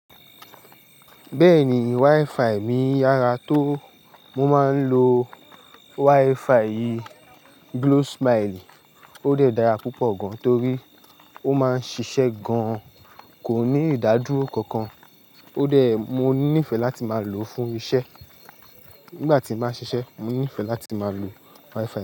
Bẹ́ẹ̀ni, WiFi mi yára tó, mo máa ń lo WiFi Glo smile, ó dẹ́ dára púpọ̀ gan, torí ó máa ń ṣiṣẹ́ gan, kò ní ìdádúró kankan, ó dẹ́ mo nífẹ̀ẹ́ láti máa lò ó fún isẹ́. Nígbà tí ba ń ṣiṣẹ́, mo nífẹ̀ẹ́ láti máa lo WiFi.